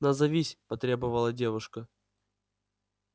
назовись потребовала девушка